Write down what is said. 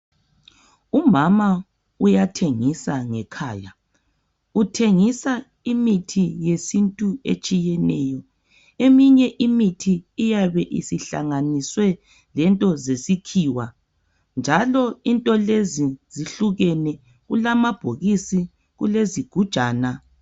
Umama uyathengisa ngekhaya, uthengisa imithi yesintu etshiyeneyo. Eminye imithi iyabe isihlanganiswe lento zesikhiwa njalo into lezi zehlukene, kulamabhokisi, kulezigujana.